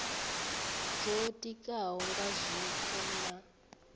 dzo ditikaho nga zwiko na